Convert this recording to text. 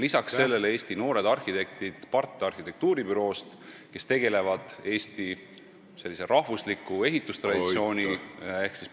Lisaks, arhitektuuribüroo PART noored arhitektid, kes tegelevad Eesti rahvusliku ehitustraditsiooni viljelemisega ...